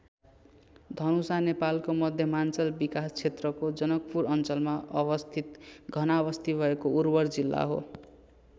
धनुषा नेपालको मध्यमाञ्चल विकास क्षेत्रको जनकपुर अञ्चलमा अवस्थित घनाबस्ती भएको उर्वर जिल्ला हो।